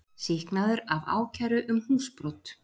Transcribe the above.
Sýknaður af ákæru um húsbrot